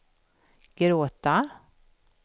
gråta